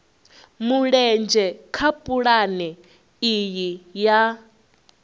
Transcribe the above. mulenzhe kha pulane iyi ya